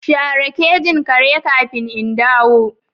Share kejin kare kafin in dawo.